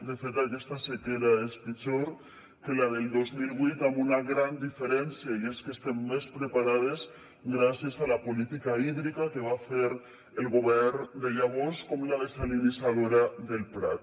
de fet aquesta sequera és pitjor que la del dos mil vuit amb una gran diferència i és que estem més preparades gràcies a la política hídrica que va fer el govern de llavors com la dessalinitzadora del prat